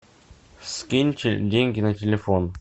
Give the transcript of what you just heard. скиньте деньги на телефон